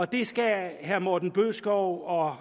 det skal herre morten bødskov og